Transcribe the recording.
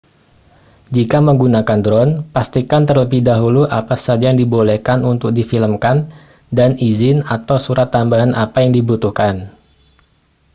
jika menggunakan drone pastikan terlebih dahulu apa saja yang dibolehkan untuk difilmkan dan izin atau surat tambahan apa yang dibutuhkan